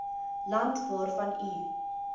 land waarvan u